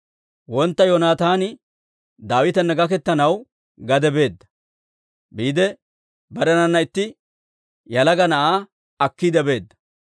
Wontta Yoonataani Daawitana gaketanaw gade biide barenanna itti yalaga na'aa akkiide beedda.